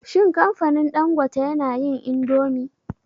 Shin kamfanin Dangote yana yin indomi?